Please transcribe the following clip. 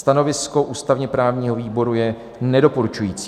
Stanovisko ústavně-právního výboru je nedoporučující.